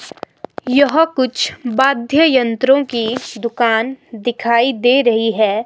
यह कुछ बाध्य यंत्रों की दुकान दिखाई दे रही है।